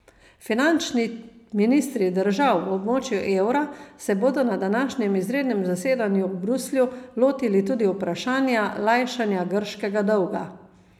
Finančni ministri držav v območju evra se bodo na današnjem izrednem zasedanju v Bruslju lotili tudi vprašanja lajšanja grškega dolga.